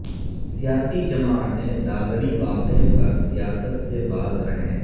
سیاسی جماعتیں دادری واقعہ پر سیاست سے باز رہیں